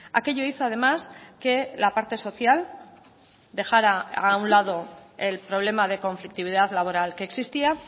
aquello hizo además que la parte social dejara a un lado el problema de conflictividad laboral que existía